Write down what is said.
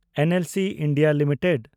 NLC India limited